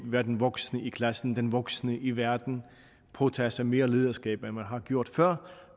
være den voksne i klassen og den voksne i verden og påtage sig mere lederskab end man har gjort før